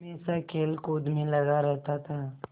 हमेशा खेलकूद में लगा रहता था